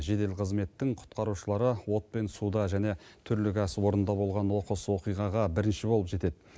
жедел қызметтің құтқарушылары от пен суда және түрлі кәсіпорында болған оқыс оқиғаға бірінші болып жетеді